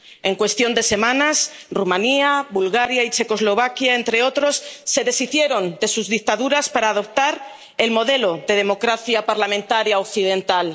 En cuestión de semanas, Rumanía, Bulgaria y Checoslovaquia, entre otros, se deshicieron de sus dictaduras para adoptar el modelo de democracia parlamentaria occidental.